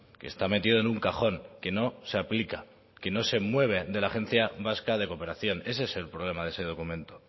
que está metido en un cajón que no se aplica que no se mueve de la agencia vasca de cooperación ese es el problema de ese documento